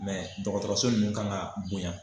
dɔgɔtɔrɔso ninnu kan ka bonya.